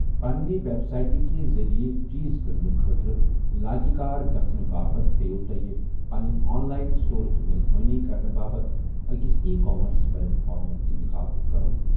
پنِنہِ ویب سائٹہِ کہِ ذٔریعہٕ چیٖز کٕننہٕ خٲطرٕ لایقِہ کار گژھنہٕ باپتھ پیٮ۪و تۄہہِ پنِنہِ آن لائن سٹورٕچ میزبانی کرنہٕ باپتھ أکِس ای کامرس پلیٹ فارمُک اِنتخاب کرُن۔